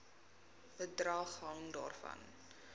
bedrag hang daarvan